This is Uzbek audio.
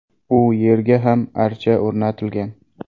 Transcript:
U yerga ham archa o‘rnatilgan.